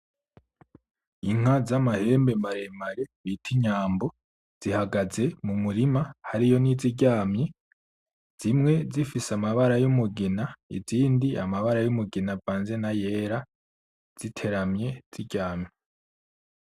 Inka z'amahembe maremare bita Inyambo zihagaze mu murima, hariyo n'iziryamye. Zimwe zifise amabara y'umugina, izindi amabara y'umugina avanze n'ayera, ziteramye, ziryamye.